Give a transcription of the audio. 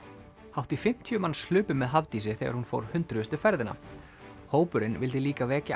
hátt í fimmtíu manns hlupu með Hafdísi þegar hún fór hundruðustu ferðina hópurinn vildi líka vekja